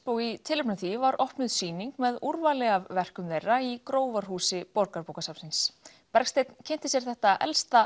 og í tilefni af því var opnuð sýning með úrvali af verkum þeirra í Grófarhúsi Borgarbókasafnsins Bergsteinn kynnti sér þetta elsta